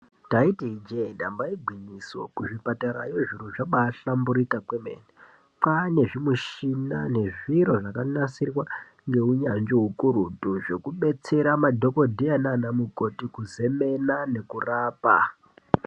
Ndaiti ijee damba igwinyiso kuzvipatara ezvino kwahlamburika zvomene ,kwaane zvimichina nezviro zvakanasirwa ngehunyanzvi hukurudu hwekudetsera madhokoteya naana mukoti kuzemena nekurapa.